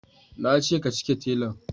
Nace ka cike telan